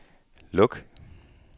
luk